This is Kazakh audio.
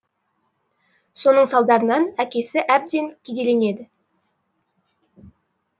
соның салдарынан әкесі әбден кедейленеді